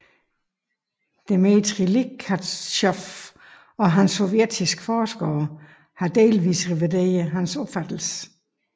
Dmítrij Likhatjov og andre sovjetiske forskere har delvis revideret hans opfattelse